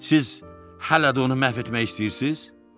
Siz hələ də onu məhv etmək istəyirsiz?